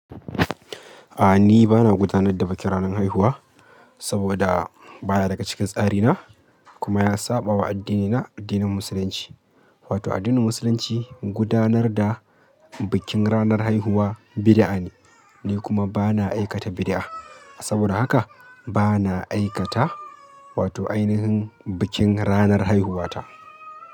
A'a ni bana gudanar da bikin ranar haihuwa saboda ba ya daga cikin tsari na kuma ya saɓawa addinina, addinin Musulunci. Wato addinin Musulunci gudanar da bikin ranar haihuwa bidi'a ne, ni kuma ba na aikata bidi'a saboda haka ba na aikata wato ainihin bikin ranar haihuwata.